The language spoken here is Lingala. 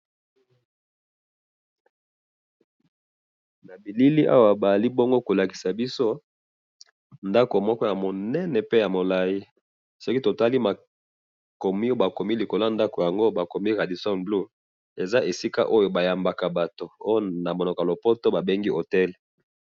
Na moni ndako munene ya etage Radison blue, esika ba yambaka bato.